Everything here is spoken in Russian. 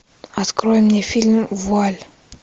открой мне фильм вуаль